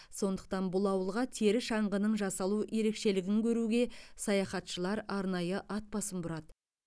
сондықтан бұл ауылға тері шаңғының жасалу ерекшелгін көруге саяхатшылар арнайы атбасын бұрады